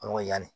yanni